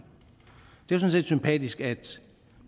det er jo sådan set sympatisk at